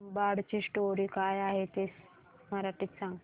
तुंबाडची स्टोरी काय आहे ते मराठीत सांग